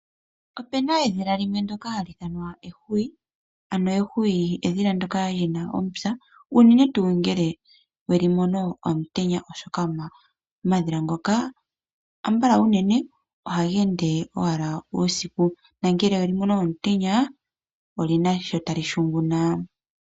Opena edhila limwe ndoka haliithanwa eehwiyu. Ano ehwiyu edhila ndoka lina omupya. Uunene tu ngele welimo omutenya oshoka omadhila ngoka ambala uunene ohageende owala uusiku. Nangele welimono omutenya, olyina sho talihunguna.